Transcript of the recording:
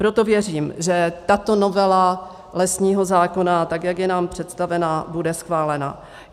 Proto věřím, že tato novela lesního zákona, tak jak je nám představena, bude schválena.